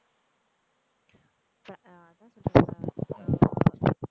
இப்போ அதான் சொல்றேன்ல